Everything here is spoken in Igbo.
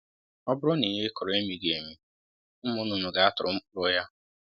Ọ bụrụ na ihe ị kụrụ emighi emi, ụmụ nnụnụ ga-atụrụ mkpụrụ ya